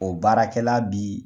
O baarakɛla bi